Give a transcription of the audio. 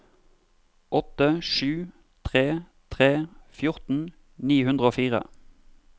åtte sju tre tre fjorten ni hundre og fire